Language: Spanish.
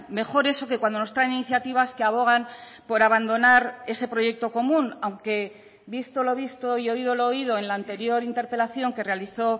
mejor eso que cuando nos traen iniciativas que abogan por abandonar ese proyecto común aunque visto lo visto y oído lo oído en la anterior interpelación que realizó